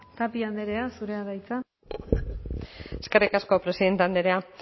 tapia andrea zurea da hitza eskerrik asko presidente andrea